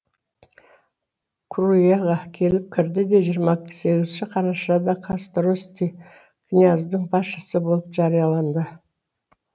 круяға келіп кірді де жиырма сегізінші қарашада кастрости князьдің басшысы болып жарияланды